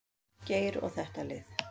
Geir og þetta lið.